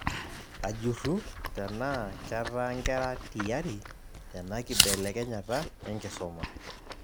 Ajurru tenaa ketaa nkera tiyari tena kibelekenyata enkisuma